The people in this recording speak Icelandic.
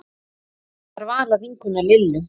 Það var Vala vinkona Lillu.